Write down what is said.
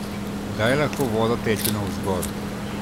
Kdaj lahko voda teče navzgor?